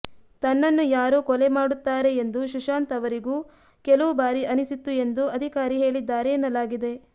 ತನ್ನನ್ನು ಯಾರೋ ಕೊಲೆ ಮಾಡುತ್ತಾರೆ ಎಂದು ಸುಶಾಂತ್ ಅವರಿಗೂ ಕೆಲವು ಬಾರಿ ಅನಿಸಿತ್ತು ಎಂದು ಅಧಿಕಾರಿ ಹೇಳಿದ್ದಾರೆ ಎನ್ನಲಾಗಿದೆ